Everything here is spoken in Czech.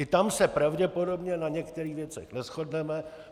I tam se pravděpodobně na některých věcech neshodneme.